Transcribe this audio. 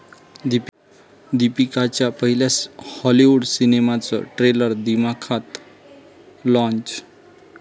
दीपिकाच्या पहिल्या हॉलिवूड सिनेमाचं ट्रेलर दिमाखात लाँच